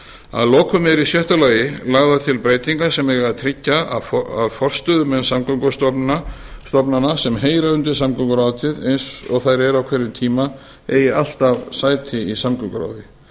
að lokum eru í sjötta lagi lagðar til breytingar sem eiga að tryggja að forstöðumenn samgöngustofnana sem heyra undir samgönguráðuneytið eins og þær eru á hverjum tíma eigi alltaf sæti í samgönguráði